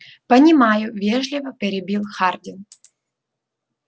понимаю вежливо перебил хардин